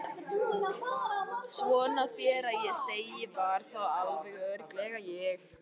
Svona þér að segja var það alveg örugglega ég